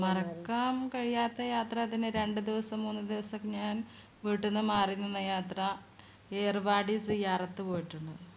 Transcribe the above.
മറക്കാൻ കഴിയാത്ത യാത്ര രണ്ടു ദിവസം മൂന്നു ദിവസം ഞാൻ വീട്ടീന്ന് മാറി നിന്ന യാത്ര ഏർവാടി സിയാറത്ത് പോയിട്ടുണ്ട്